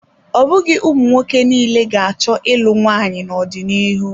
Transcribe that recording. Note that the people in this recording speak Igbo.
Ọ bụghị ụmụnwoke niile ga-achọ ịlụ nwaanyị n'ọdịnihu.